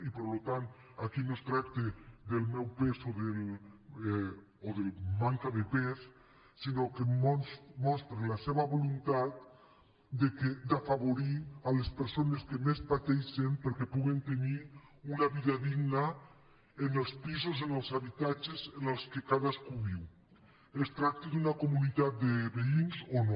i per tant aquí no es tracta del meu pes o de manca de pes sinó que mostra la seva voluntat d’afavorir les persones que més pateixen perquè puguen tenir una vida digna en els pisos en els habitatges en què cadascú viu es tracti d’una comunitat de veïns o no